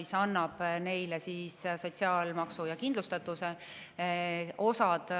Sel juhul nende eest sotsiaalmaksu ja kindlustatuse.